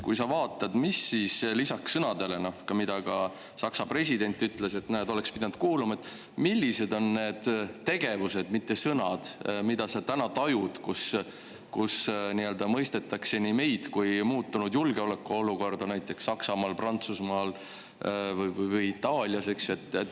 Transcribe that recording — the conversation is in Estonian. Kui sa vaatad lisaks sõnadele – ka Saksa president ütles, et näed, oleks pidanud teid kuulama –, siis millised on need tegevused, mille puhul sa tajud, et nii meid kui ka muutunud julgeolekuolukorda mõistetakse näiteks Saksamaal, Prantsusmaal või Itaalias?